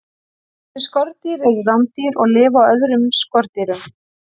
Þessi skordýr eru rándýr og lifa á öðrum skordýrum.